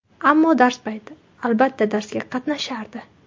Ammo dars payti albatta darsga qatnashardi.